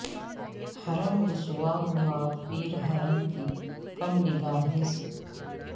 حرم رسوا ہوا پیر حرم کی کم نگا ہی سے